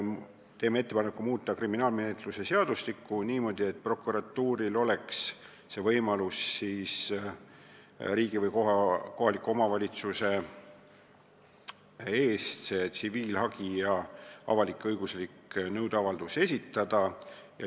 Teeme ettepaneku muuta kriminaalmenetluse seadustikku niimoodi, et prokuratuuril oleks võimalus riigi või kohaliku omavalitsuse eest asjakohane tsiviilhagi või avalik-õigusliku nõude avaldus esitada.